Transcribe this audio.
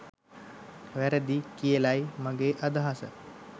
වැරදියි කියලයි මගෙ අදහස.